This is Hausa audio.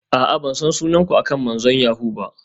A'a, ban san sunan ku akan manzon yahoo ba.